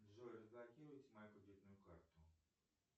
джой разблокируйте мою кредитную карту